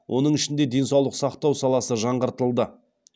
оның ішінде денсаулық сақтау саласы жаңғыртылды